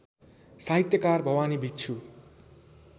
साहित्यकार भवानी भिक्षु